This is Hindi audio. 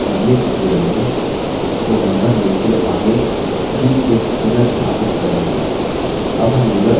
name अपने अगले tutorial में उसको member name के आगे ठीक से पुनर्स्थापित करेंगे